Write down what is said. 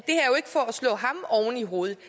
slå ham oven i hovedet det